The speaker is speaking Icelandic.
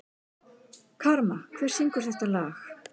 Karma, hver syngur þetta lag?